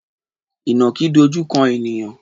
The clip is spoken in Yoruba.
Ìnàkí dojú kan ènìyàn?